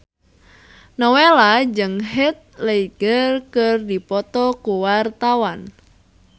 Nowela jeung Heath Ledger keur dipoto ku wartawan